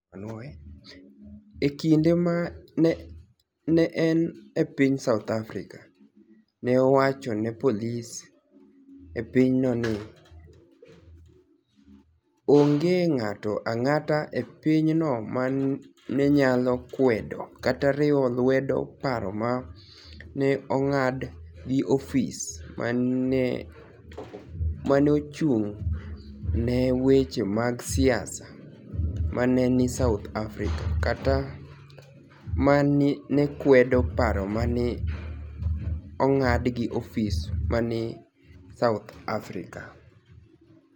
E kinide ma ni e eni e piniy South Africa, ni e owach ni e polis e piny no nii: "Onige nig'ato anig'ata e piny no ma ni e niyalo kwedo kata riwo lwedo paro ma ni e onig'ad gi ofis ma ni e ochunig' ni e weche mag siasa ma ni e nii South Africa, kata ma ni e kwedo paro ma ni e onig'ad gi ofis ma ni e nii South Africa.